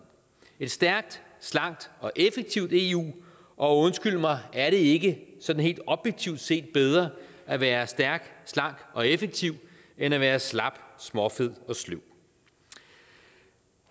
et stærkt slankt og effektivt eu og undskyld mig er det ikke sådan helt objektivt set bedre at være stærk slank og effektiv end at være slap småfed og sløv